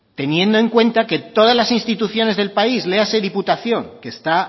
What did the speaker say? teniendo en cuenta que todas las instituciones del país léase diputación que está